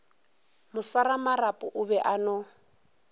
moswaramarapo o be a no